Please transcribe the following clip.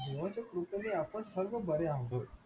देवाच्या कृपेने आपण सगळे बरे आहोत